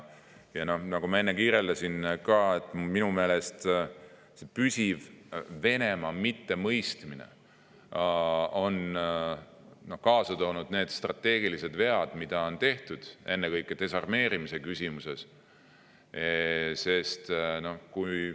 Ja nagu ma enne kirjeldasin, minu meelest püsiv Venemaa mittemõistmine on kaasa toonud need strateegilised vead, mida on tehtud, ennekõike desarmeerimisküsimuses.